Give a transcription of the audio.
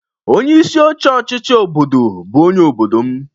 Onye isi oche ọchịchị obodo bụ onye obodo m.